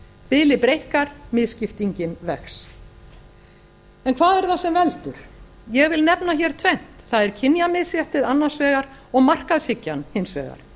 bilið breikkar misskiptingin vex hvað er það sem veldur ég vil nefna hér tvennt það er kynjamisréttið annars vegar og markaðshyggjan hins vegar